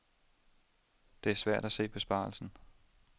Det er svært at se besparelsen.